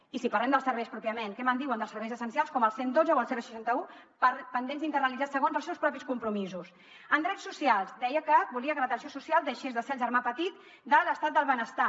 i si parlem dels serveis pròpiament què me’n diuen dels serveis essencials com el cent i dotze o el seixanta un pendents d’internalitzar segons els seus propis compromisos en drets socials deia que volia que l’atenció social deixés de ser el germà petit de l’estat del benestar